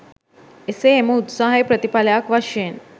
එසේ එම උත්සාහයේ ප්‍රතිඵලයක් වශයෙන්